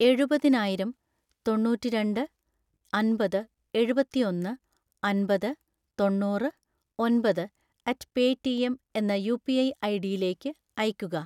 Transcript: എഴുപതിനായിരം തൊണ്ണൂറ്റിരണ്ട് അമ്പത് എഴുപത്തിയൊന്ന് അമ്പത് തൊണ്ണൂറ് ഒമ്പത് അറ്റ് പേറ്റിഎം എന്ന യുപിഐ ഐഡിയിലേക്ക് അയയ്ക്കുക